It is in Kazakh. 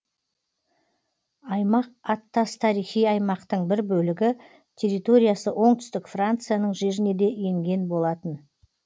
аймақ аттас тарихи аймақтың бір бөлігі территориясы оңтүстік францияның жеріне де енген болатын